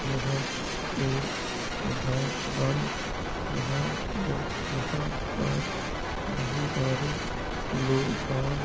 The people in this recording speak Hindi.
यह एक घर बन रहा है यहाँ पर बहुत सारे लोग काम --